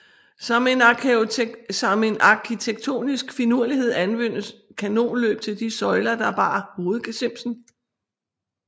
Som en arkitektonisk finurlighed anvendtes kanonløb til de søjler der bar hovedgesimsen